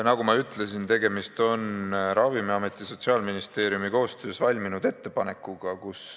Nagu ma ütlesin, tegemist on Ravimiameti ja Sotsiaalministeeriumi koostöös valminud ettepanekuga.